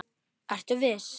Ertu viss?